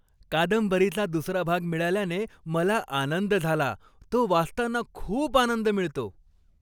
कादंबरीचा दुसरा भाग मिळाल्याने मला आनंद झाला. तो वाचताना खूप आनंद मिळतो.